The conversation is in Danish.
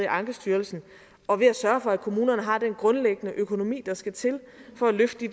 ankestyrelsen og ved at sørge for at kommunerne har den grundlæggende økonomi der skal til for at løfte